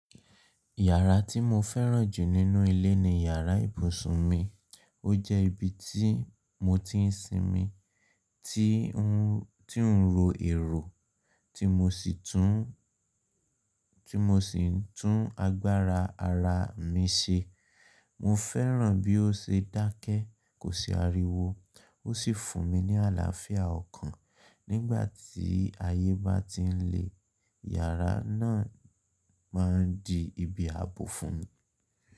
Yàrá tí mo fẹ́ràn jù nínú ilé ni yàrá ibùsùn mi. Ó jẹ́ ibi tí mo ti ń sinmi, tí ń ro èrò, tí mo sì ń tún agbára ara mi ṣe. Mo fẹ́ràn bí ó ṣe dákẹ́, kò sí ariwo, ó sì fún mi ní àlàáfíà ọkàn. Nígbà tí ayé bá ti ń le, yàrá náà máa di ibi ààbò fún mi.